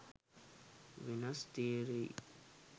වෙනස තේරෙයි.